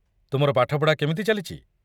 ତୁମର ପାଠପଢ଼ା କେମିତି ଚାଲିଛି?